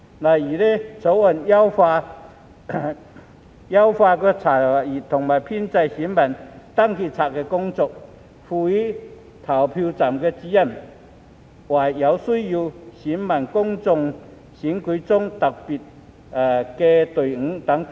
例如，《條例草案》優化了查閱和編製選民登記冊的工作，賦權投票站主任為有需要的選民在公共選舉中設特別隊伍等。